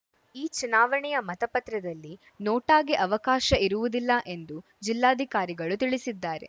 ಈ ಚುನಾವಣೆಯ ಮತಪತ್ರದಲ್ಲಿ ನೋಟಾಗೆ ಅವಕಾಶ ಇರುವುದಿಲ್ಲ ಎಂದು ಜಿಲ್ಲಾಧಿಕಾರಿಗಳು ತಿಳಿಸಿದ್ದಾರೆ